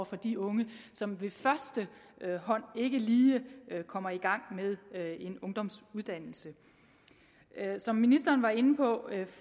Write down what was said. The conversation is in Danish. for de unge som ved første hånd ikke lige kommer i gang med en ungdomsuddannelse som ministeren var inde på